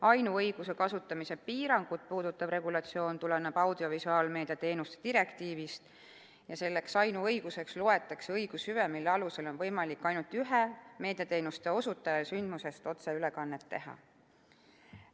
Ainuõiguse kasutamise piirangut puudutav regulatsioon tuleneb audiovisuaalmeedia teenuste direktiivist ja selleks ainuõiguseks loetakse õigushüve, mille alusel on võimalik ainult ühel meediateenuste osutajal sündmusest otseülekannet teha.